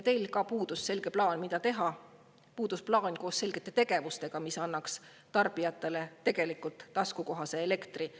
Teil puudus selge plaan, mida teha, puudus plaan koos selgete tegevustega, mis annaks tarbijatele taskukohase elektri.